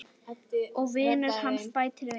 Og vinur hans bætir við